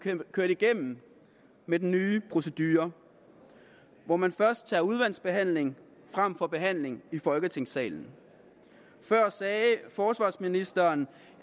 kørt igennem med den nye procedure hvor man først tager udvalgsbehandling frem for behandling i folketingssalen før sagde forsvarsministeren